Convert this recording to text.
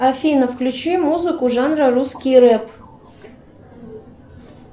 афина включи музыку жанра русский рэп